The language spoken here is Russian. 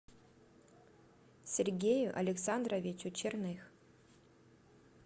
сергею александровичу черных